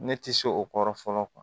Ne tɛ se o kɔrɔ fɔlɔ